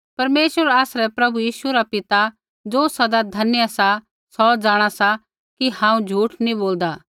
परमेश्वर आसरै प्रभु यीशु रा पिता ज़ो सदा धन्य सा सौ जाँणा सा कि हांऊँ झूठ नी बोलदा